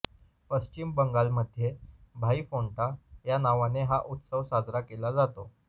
पश्चिम बंगालमध्ये भाई फोंटा या नावाने हा उत्सव साजरा केला जातो